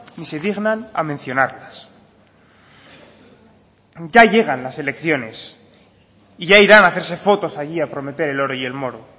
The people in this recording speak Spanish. ni se dignan a mencionarlas ya llegan las elecciones y ya irán a hacerse fotos allí a prometer el oro y el moro